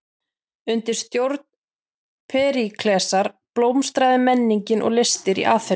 Undir stjórn Períklesar blómstraði menningin og listir í Aþenu.